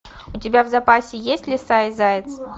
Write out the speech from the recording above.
у тебя в запасе есть лиса и заяц